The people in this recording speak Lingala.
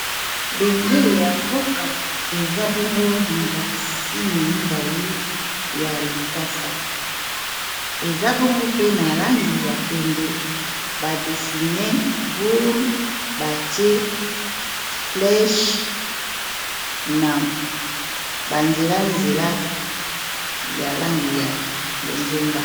Bendele ya mboka eza bongo na ba signe mibale ya likasa eza bongo pe na langi ya pembe ba dessine boule batie flesh na ba nzela-nzela ya langi ya bonzenga.